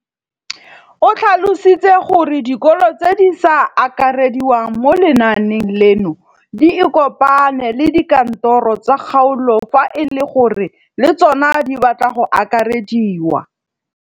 O tlhalositse gore dikolo tse di sa akarediwang mo lenaaneng leno di ikopanye le dikantoro tsa kgaolo fa e le gore le tsona di batla go akarediwa.